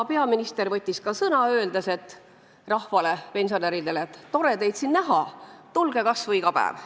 Peaminister võttis ka sõna, öeldes rahvale, pensionäridele, et tore teid siin näha, tulge kas või iga päev.